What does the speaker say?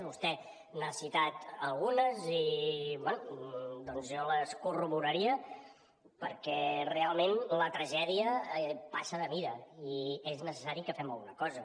vostè n’ha citat algunes i bé doncs jo les corroboraria perquè realment la tragèdia passa de mida i és necessari que fem alguna cosa